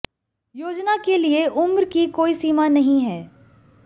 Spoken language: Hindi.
योजना के लिए उम्र की कोई सीमा नहीं है